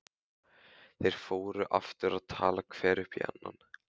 Þeir fóru aftur að tala hver upp í annan.